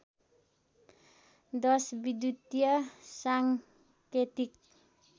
१० विद्युतीय साङ्केतिक